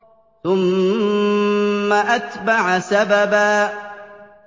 ثُمَّ أَتْبَعَ سَبَبًا